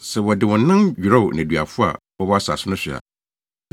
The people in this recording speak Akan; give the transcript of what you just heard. Sɛ wɔde wɔn nan dwerɛw nneduafo a wɔwɔ asase no so a,